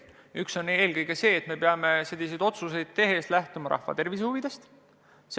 Üks on see, et me peame selliseid otsuseid tehes eelkõige lähtuma rahva tervise huvidest.